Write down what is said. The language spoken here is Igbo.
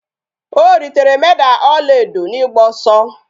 O ritere Meda ọla edo n'ịgba ọsọ